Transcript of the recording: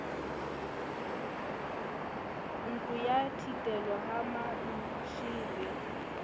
ntlong ya thitelo ha mantshele